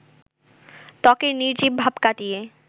ত্বকের নির্জীব ভাব কাটিয়ে